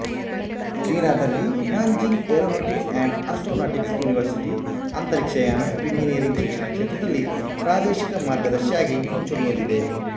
ಚೀನಾದಲ್ಲಿ Nanjing aeronautics and astronautics university ಅಂತರಿಕ್ಷಯಾನ engineering ಶಿಕ್ಷಣ ಕ್ಷೇತ್ರದಲ್ಲಿ ಪ್ರಾದೇಶಿಕ ಮಾರ್ಗದರ್ಶಿಯಾಗಿ ಮುಂಚೂಣಿಯಲ್ಲಿದೆ